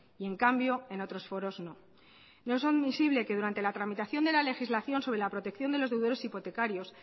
y en cambio en otros foros no no es omisible que durante la tramitación de la legislación sobre la protección de los deudores hipotecarios